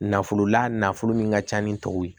Nafolo la nafolo min ka ca ni tɔw ye